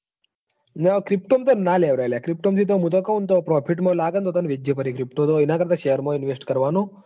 Crypto મોં ન તો ના લેવરાય લ્યા. pto માં થી તો profit માં લાગેન તો તન વેચે પરી. pto તો એના કરતા share માં invest કરવાનું.